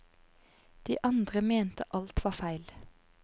De andre mente alt var feil.